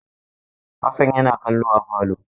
Hassan yana kallo a falo.